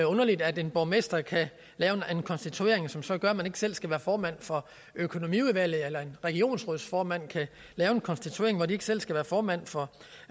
underligt at en borgmester kan lave en konstituering som så gør at man ikke selv skal være formand for økonomiudvalget eller en regionsrådsformand kan lave en konstituering hvor vedkommende ikke selv skal være formand for